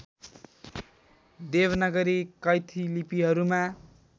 Devanagari Kaithi लिपिहरूमा